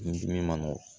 Ni dimi ma nɔgɔn